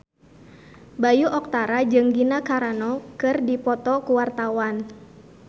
Bayu Octara jeung Gina Carano keur dipoto ku wartawan